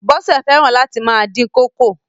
Bọ́sẹ̀ fẹ́ràn láti máa dín kókò.